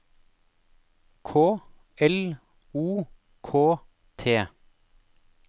K L O K T